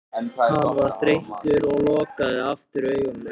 Hann var þreyttur og lokaði aftur augunum.